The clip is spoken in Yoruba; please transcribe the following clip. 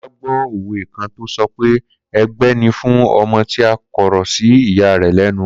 Kola gbó òwe kan tó sọ pé ègbé ni fún ọmọ tí ó kọ̀rọ̀ sí ìya rẹ̀ lẹ́nu